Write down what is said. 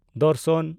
ᱫᱚᱨᱥᱚᱱ